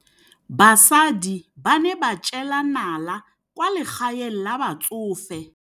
Basadi ba ne ba jela nala kwaa legaeng la batsofe.